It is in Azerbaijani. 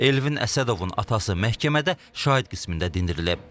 Elvin Əsədovun atası məhkəmədə şahid qismində dindirilib.